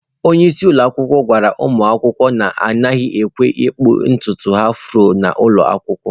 Onye isi ụlọ akwụkwọ gwara ụmụ akwụkwọ na, anaghị ekwe ha ịkpụ ntutu afro n'ụlọ akwụkwọ.